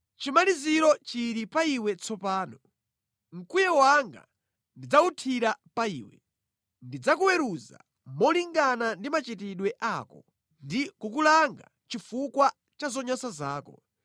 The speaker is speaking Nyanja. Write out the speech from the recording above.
Chimaliziro chili pa iwe tsopano. Mkwiyo wanga ndidzawuthira pa iwe. Ndidzakuweruza molingana ndi machitidwe ako ndi kukulanga chifukwa cha zonyansa zako.